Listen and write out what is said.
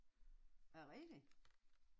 Er det rigtigt?